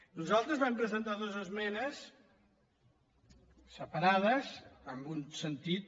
nosaltres vam presentar dues esmenes separades en un sentit